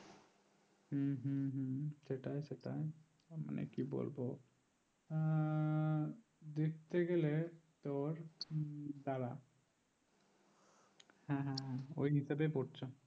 হম হম হম সেটা সেটা মানে কি বলবো দেখতে গেলে তোর দ্বারা হম হম ওই হিসাবে পড়ছে